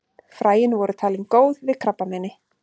Fræin voru talin góð við krabbameini.